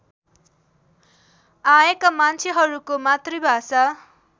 आएका मान्छेहरूको मातृभाषा